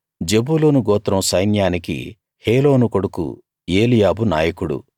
జెబూలూను గోత్రం సైన్యానికి హేలోను కొడుకు ఏలీయాబు నాయకుడు